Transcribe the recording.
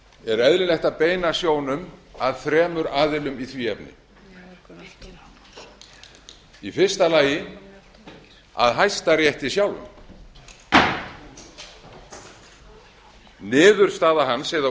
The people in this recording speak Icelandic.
er eðlilegt að beina sjónum að þremur aðilum í því efni í fyrsta lagi að hæstarétti sjálfum niðurstaða hans eða